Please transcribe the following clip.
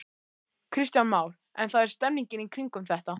Kristján Már: En það er stemning í kringum þetta?